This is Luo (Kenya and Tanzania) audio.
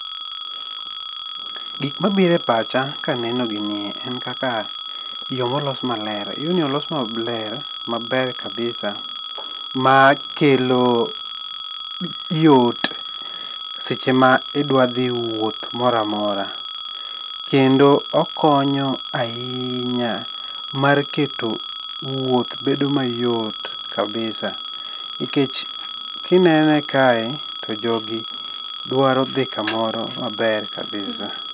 Gik mabire pacha kaneno gini en kaka yoo molos maler. Yoo ni olos maler, maber kabisa makelo yot seche ma idwa dhi wuoth moro amora. Kendo okonyo ahinya mar keto wuoth bedo mayot kabisa nikech kinene kae to jogi dwaro dhi kamoro maber kabisa.